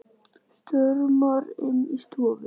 Stormar inn í stofu.